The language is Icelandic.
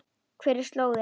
Hver er slóðin?